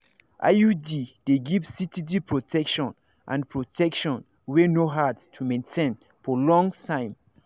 iud dey give steady protection and protection wey no hard to maintain for long time.